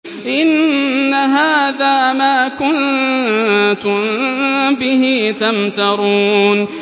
إِنَّ هَٰذَا مَا كُنتُم بِهِ تَمْتَرُونَ